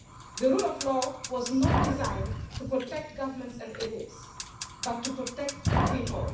The rule of law was not designed to protect governments and elites, but to protect people.